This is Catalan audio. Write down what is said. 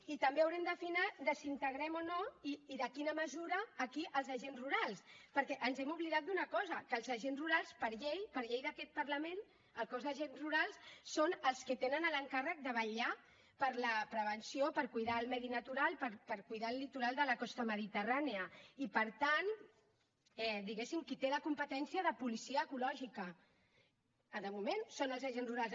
i també haurem d’afinar de si integrem o no i de quina mesura aquí els agents rurals perquè ens hem oblidat d’una cosa que els agents rurals per llei per llei d’aquest parlament el cos d’agents rurals són els que tenen l’encàrrec de vetllar per la prevenció per cuidar el medi natural per cuidar el litoral de la costa mediterrània i per tant diguem ne qui té la competència de policia ecològica de moment són els agents rurals